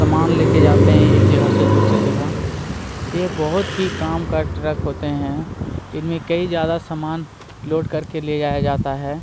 सामान लेके जाते हैं एक जगह से दूसरे जगह ये बहुत ही काम का ट्रक होते हैं इनमें कई ज्यादा सामान लोड करके ले जाया जाता है |--